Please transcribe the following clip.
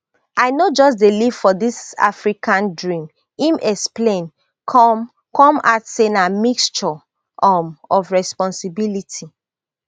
i no just dey leave for dis african dream im explain come come add say na mixture um of responsibility